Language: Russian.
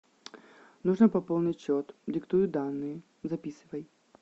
нужно пополнить счет диктую данные записывай